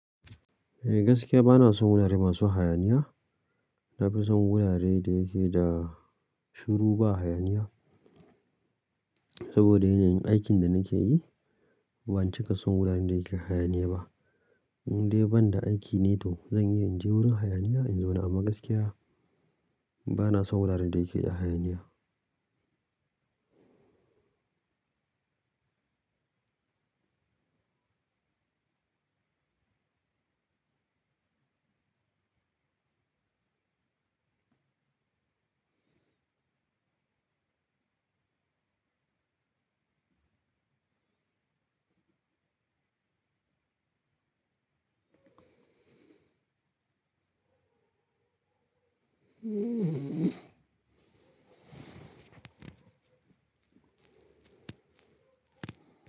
Eh gaskiya bana son wurare masu hayaniya. Na fi son wuraren da yake da shiru ba hayaniya. Saboda yanayin aikin da nake yi, ban cika son wuraren da yake hayaniya ba. Idai ban da aiki ne to zan iya in je wurin hayaniya in zauna amma gaskiya bana son wuraren da yake da hayaniya.